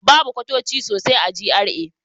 Babu kwatoci sosai a GRA.